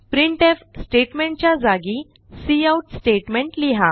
printf statement च्या जागी cout statement लिहा